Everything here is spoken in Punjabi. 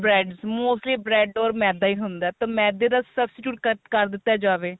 bread mostly bread or ਮੈਦਾ ਈ ਹੁੰਦਾ ਤਾਂ ਮੇਦੇ ਦਾ substitute ਕੱਟ ਕ਼ਰ ਦਿੱਤਾ ਜਾਵੇ